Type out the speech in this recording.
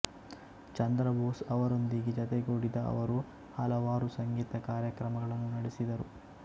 ಚಂದ್ರ ಬೋಸ್ ಅವರೊಂದಿಗೆ ಜತೆಗೂಡಿದ ಅವರು ಹಲವಾರು ಸಂಗೀತ ಕಾರ್ಯಕ್ರಮಗಳನ್ನು ನಡೆಸಿದರು